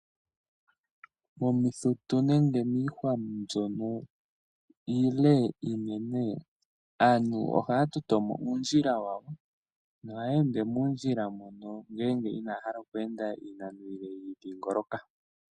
Momithitu nenge miihwa mbyono iile aantu ohaatitotomo uundjila wawo nohaya ended moondjila mono ngeenge inaahala okweenda mondjila oonde dhadhingoloka.